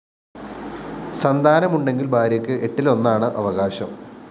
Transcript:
സന്താനമുണ്ടെങ്കില്‍ ഭാര്യക്ക്‌ എട്ടിലൊന്നാണ്‌ അവകാശം